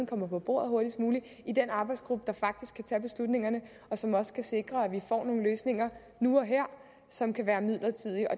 kommer på bordet hurtigst muligt i den arbejdsgruppe der faktisk skal tage beslutningerne og som også skal sikre at vi får nogle løsninger nu og her som kan være midlertidige og